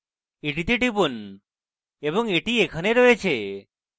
এটিতে টিপুন এবং এটি এখানে রয়েছে